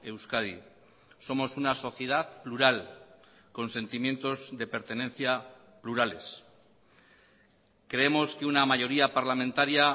euskadi somos una sociedad plural con sentimientos de pertenencia plurales creemos que una mayoría parlamentaria